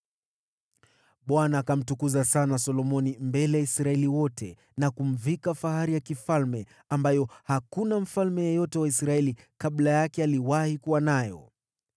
Bwana akamtukuza sana Solomoni mbele ya Israeli wote na kumvika fahari ya kifalme ambayo hakuna mfalme yeyote wa Israeli kabla yake aliwahi kuwa nayo.